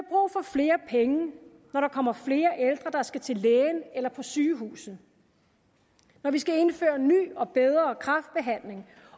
flere penge når der kommer flere ældre der skal til lægen eller på sygehuset når vi skal indføre ny og bedre kræftbehandling